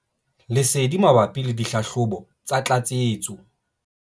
Lesedi mabapi le dihlahlobo tsa tlatsetso.